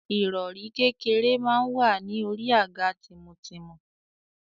Ìrọ̀rí kékeré máa wà ní orí àga tìmùtìmù.